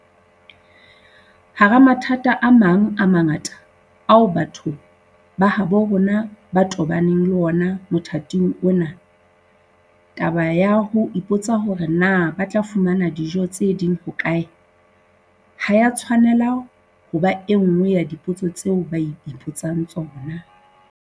Hara mathata a mang a mangata ao batho ba habo rona ba tobaneng le wona motha-ting ona, taba ya ho ipotsa hore na ba tla fumana dijo tse ding hokae ha e a tshwanela ho ba enngwe ya dipotso tseo ba ipotsang tsona.